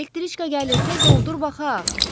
Elektriçka gəlir, tez ol, dur, baxaq.